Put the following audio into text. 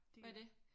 Hvad er det?